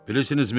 Bilirsinizmi?